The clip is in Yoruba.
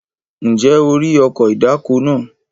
Ǹjẹ́ o rí ọkọ̀ ìdáko náà?